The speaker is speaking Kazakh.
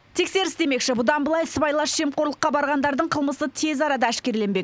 тексеріс демекші бұдан былай сыбайлас жемқорлыққа барғандардың қылмысы тез арада әшкереленбек